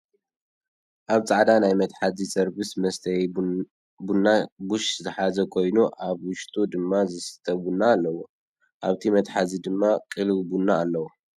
ኣብ ፃዕዳ ናይ መትሓዚ ሰርብስ መስተይቡና ቡሽ ዝሓዘ ኮይኑ ኣብ ውሽጡ ድማ ዝስተ ቡና ኣለዎ። ኣብቲ መትሓዚ ድማ ቅልው ቡና ኣሎ።